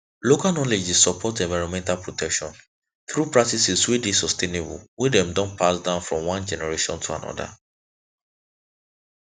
local knowledge dey support environmental protection through practices wey dey sustainable wey dem don pass down from one generation to another